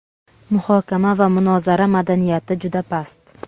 Muhokama va munozara madaniyati juda past.